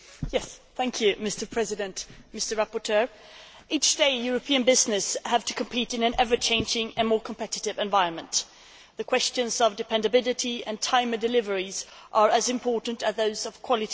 Mr President, every day, European businesses have to compete in an ever changing and more competitive environment. The questions of dependability and timely delivery are as important as those of quality and price.